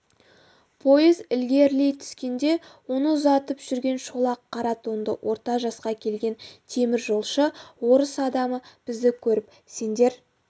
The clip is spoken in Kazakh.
пойыз ілгерілей түскенде оны ұзатып жүрген шолақ қара тонды орта жасқа келген теміржолшы орыс адамы бізді көріп сендер